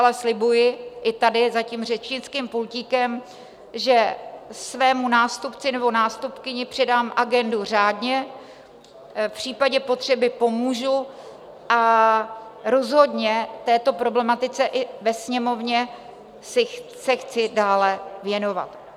Ale slibuji i tady za tím řečnickým pultíkem, že svému nástupci nebo nástupkyni předám agendu řádně, v případě potřeby pomůžu a rozhodně této problematice i ve Sněmovně se chci dále věnovat.